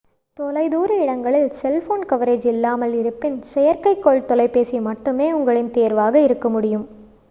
தொலைதூர இடங்களில் cellphone coverage இல்லாமல் இருப்பின் செயற்கைக்கோள் தொலைபேசி மட்டுமே உங்களின் தேர்வாக இருக்க முடியும்